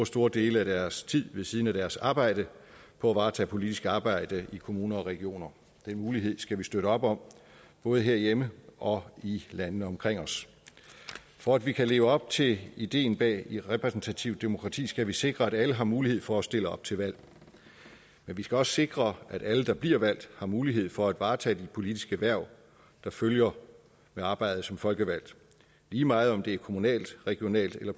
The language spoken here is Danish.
stor del af deres tid ved siden af deres arbejde på at varetage politisk arbejde i kommuner og regioner den mulighed skal vi støtte op om både herhjemme og i landene omkring os for at vi kan leve op til ideen bag repræsentativt demokrati skal vi sikre at alle har mulighed for at stille op til valg men vi skal også sikre at alle der bliver valgt har mulighed for at varetage det politiske hverv der følger med arbejdet som folkevalgt lige meget om det er på kommunalt regionalt eller